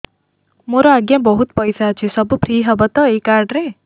ମୋର ଆଜ୍ଞା ବହୁତ ପଇସା ଅଛି ସବୁ ଫ୍ରି ହବ ତ ଏ କାର୍ଡ ରେ